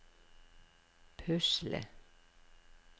pusle